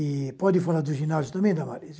E pode falar do ginásio também, Damaris?